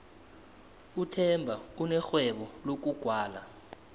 uthemba unerhwebo lokugwala